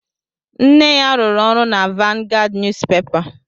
Nne ya rụrụ ọrụ na Vanguard Niyuzupepa